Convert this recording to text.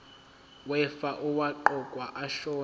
wefa owaqokwa ashona